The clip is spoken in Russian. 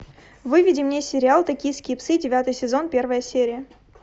выведи мне сериал токийские псы девятый сезон первая серия